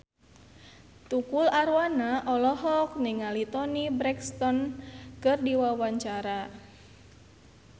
Tukul Arwana olohok ningali Toni Brexton keur diwawancara